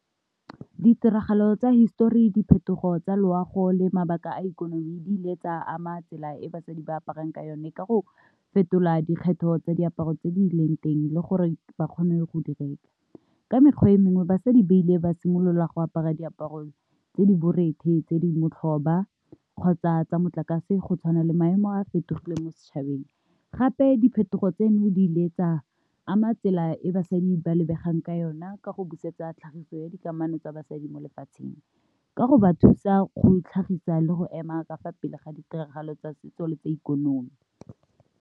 Ditiragalo tsa hisetori, diphetogo tsa loago le mabaka a ikonomi dile tsa ama tsela e basadi ba aparang ka yone ka go fetola dikgetho tsa diaparo tse di leng teng le gore ba kgone go direka ka mekgwa e mengwe, basadi ba ile ba simolola go apara diaparo tse di borethe tse di motlhoba kgotsa tsa motlakase go tshwana le maemo a fetogile mo setšhabeng. Gape diphetogo tseno di ile tsa ama tsela e basadi ba lebegang ka yona ka go busetsa tlhagiso ya dikamano tsa basadi mo lefatsheng ka go ba thusa go itlhagisa le go ema ka fa pele ga ditiragalo tsa setso le tsa ikonomi.